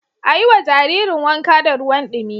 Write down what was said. A yiwa Jaririn wanka da ruwan dumi